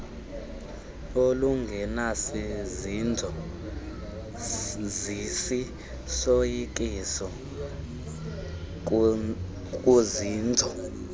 olungenasizinzo zisisoyikiso kuzinzo